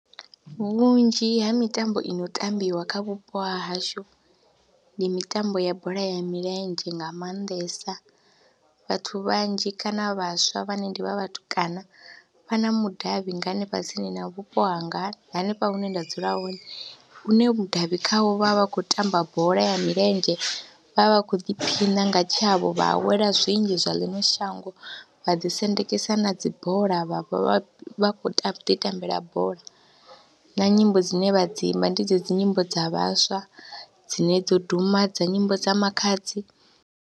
Vhunzhi ha mitambo i no tambiwa kha vhupo ha hashu ndi mitambo ya bola ya milenzhe nga maanḓesa, vhathu vhanzhi kana vhaswa vhane ndi vha vhatukana vha na mudavhi nga hanefha tsini na vhupo hanga hanefha hune nda dzula hone une mudavhi khawo vha vha vha khou tamba bola ya milenzhe, vha vha vha khou ḓiphina nga tshavho vha awela zwinzhi zwa ḽiṅwe shango, vha ḓisendekisa na dzi bola vha vha vha khou ḓitambela bola na nyimbo dzine vha dzi imba ndi dzedzi nyimbo dza vhaswa dzine dzo duma dza nyimbo dza Makhadzi.